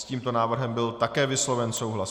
S tímto návrhem byl také vysloven souhlas.